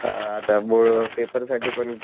हा आता board paper साठी पण